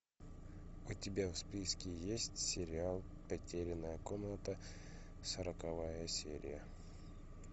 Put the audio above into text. у тебя в списке есть сериал потерянная комната сороковая серия